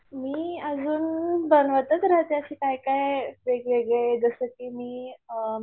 मी अजून बनवतच रहातें अशी काय काय वेगवेगळे जसं की मी अ